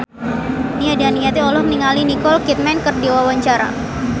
Nia Daniati olohok ningali Nicole Kidman keur diwawancara